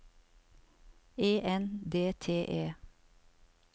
E N D T E